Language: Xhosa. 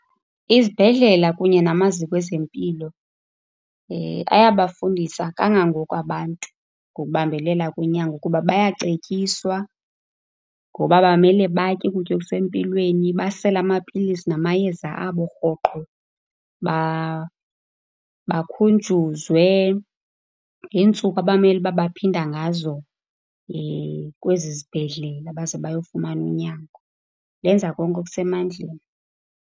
Izibhedlela kunye namaziko ezempilo ayabafundisa kangangoko abantu ngokubambelela kunyango. Kuba bayacetyiswa ngoba bamele batye ukutya okusempilweni, basele amapilisi namayeza abo rhoqo, bakhunjuzwe ngeentsuku abamele uba baphinda ngazo kwezi zibhedlela baze bayofumana unyango. Benza konke okusemandleni.